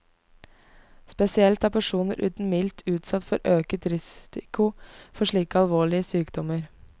Spesielt er personer uten milt utsatt for øket risiko for slike alvorlige sykdommer.